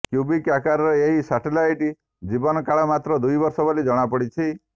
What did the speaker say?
cubic ଆକାରର ଏହି ସାଟେଲାଇର ଜୀବନ କାଳ ମାତ୍ର ଦୁଇବର୍ଷ ବୋଲି ଜଣାପଡିଛି